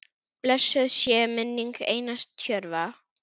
Blessuð sé minning Einars Tjörva.